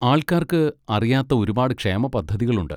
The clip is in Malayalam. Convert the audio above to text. ആൾക്കാർക്ക് അറിയാത്ത ഒരുപാട് ക്ഷേമപദ്ധതികളുണ്ട്.